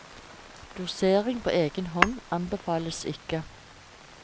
Dosering på egen hånd anbefales ikke.